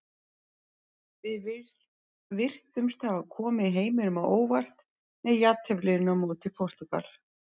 Við virtumst hafa komið heiminum á óvart með jafnteflinu á móti Portúgal.